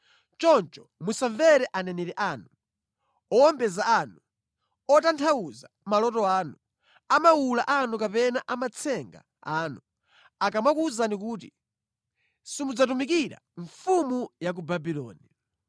Choncho musamvere aneneri anu, owombeza anu, otanthauza maloto anu, amawula anu kapena amatsenga anu akamakuwuzani kuti, ‘Simudzatumikira mfumu ya ku Babuloni.’